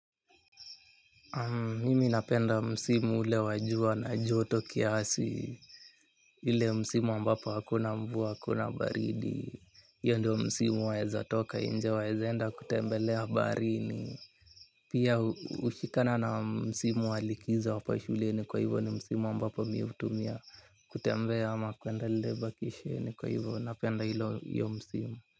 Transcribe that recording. Mimi napenda msimu ule wa jua na joto kiasi, ile msimu ambapo hakuna mvua hakuna baridi. Io ndo msimu waezatoka inje waezenda kutembelea baharini. Pia hushikana na msimu walikizo wa hapa shuleni kwa hivo ni msimu ambapo mi utumia kutembea ama kwenda lebakishe ni kwa hivo napenda ilo, io msimu.